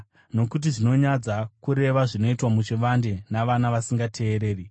Nokuti zvinonyadza kureva zvinoitwa muchivande navana vasingateereri.